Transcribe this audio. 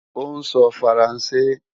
Ó ń sọ Faransé